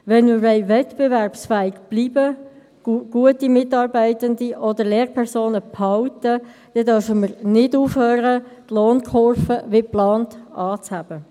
Wenn wir wettbewerbsfähig bleiben und gute Mitarbeitende oder Lehrpersonen behalten wollen, dann dürfen wir nicht aufhören, die Lohnkurve wie geplant anzuheben.